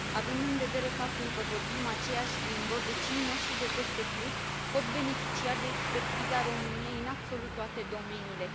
Având în vedere faptul că vorbim aceeași limbă, vecinii noștri de peste Prut pot beneficia de expertiza României în absolut toate domeniile.